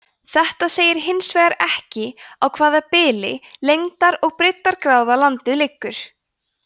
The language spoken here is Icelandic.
þetta segir hins vegar ekki á hvaða bili lengdar og breiddargráða landið liggur